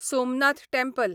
Somnath temple